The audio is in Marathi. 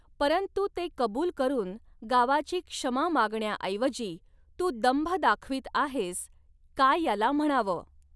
परंतु ते कबूल करून गावाची क्षमा मागण्याऐवजी तू दंभ दाखवीत आहेस, काय याला म्हणावं.